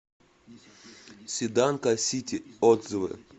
седанка сити отзывы